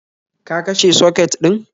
Ka kashe soket din?